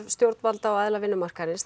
stjórnvalda og aðila vinnumarkaðarins